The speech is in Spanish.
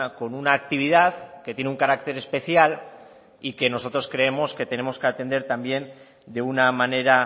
con una actividad que tiene un carácter especial y que nosotros creemos que tenemos que atender también de una manera